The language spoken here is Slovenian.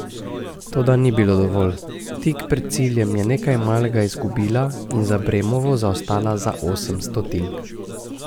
Toda ni bilo dovolj, tik pred ciljem je nekaj malega izgubila in za Bremovo zaostala za osem stotink.